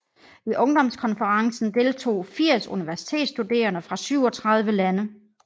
I ungdomskonferencen deltog 80 universitetsstuderende fra 37 lande